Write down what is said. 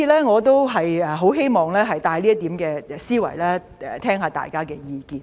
我希望帶出這點思維，聆聽大家的意見。